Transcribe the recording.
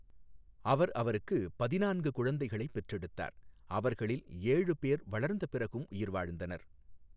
அவர் அவருக்கு பதினான்கு குழந்தைகளைப் பெற்றெடுத்தார், அவர்களில் ஏழு பேர் வளர்ந்த பிறகும் உயிர் வாழ்ந்தனர்.